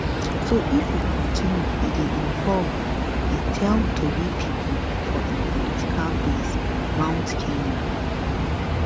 so if e kontinu e dey involve e tell tori pipo for im political base mount kenya